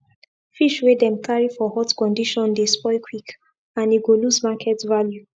fish wey dem carry for hot condition dey spoil quick and e go lose market value